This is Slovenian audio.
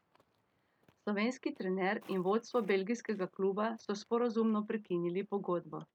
Slovenski trener in vodstvo belgijskega kluba so sporazumno prekinili pogodbo.